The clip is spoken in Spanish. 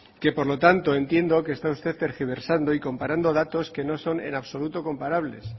que por lo tanto entiendo que está usted tergiversando y comparando datos que no son en absoluto comparables